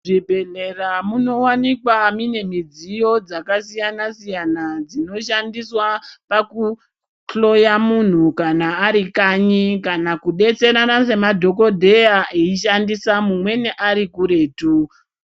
Mu zvibhehlera muno wanikwa mine midziyo dzaka siyana siyana dzino shandiswa paku hloya munhu kana ari kanyi kana ku betserana se madhokoteya eyi shandisa mumweni ari kuretu.